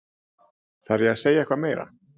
Þarf ég að segja eitthvað meira?